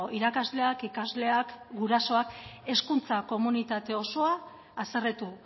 irakasleak ikasleak gurasoak hezkuntza komunitate osoa haserretu